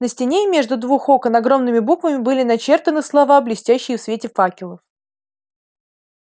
на стене между двух окон огромными буквами были начертаны слова блестящие в свете факелов